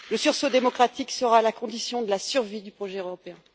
Le sursaut démocratique sera la condition de la survie du projet européen.